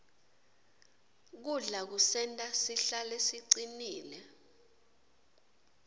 kudla kusenta sihlale sicinile